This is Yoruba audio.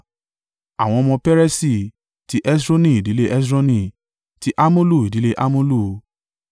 Àwọn ọmọ Peresi: ti Hesroni, ìdílé Hesroni; ti Hamulu, ìdílé Hamulu.